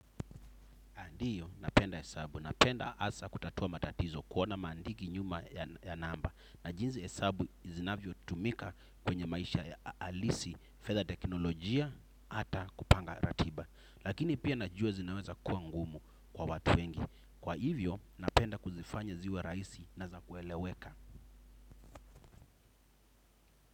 Ndiyo napenda hesabu, napenda hasa kutatua matatizo kuona maandiki nyuma ya namba. Na jinsi hesabu zinavyotumika kwenye maisha ya halisi, fedha teknolojia, ata kupanga ratiba. Lakini pia najua zinaweza kuwa ngumu kwa watu wengi. Kwa hivyo napenda kuzifanya ziwe rahisi na za kueleweka.